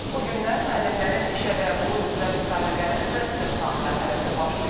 Bugündən müəllimlərin işə qəbulu üzrə müsabiqənin test imtahanı mərhələsi başlayır.